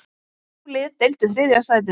Þrjú lið deildu þriðja sætinu.